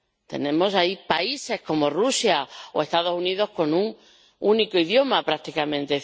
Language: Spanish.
Tenemos ahí países como Rusia o Estados Unidos con un único idioma, prácticamente.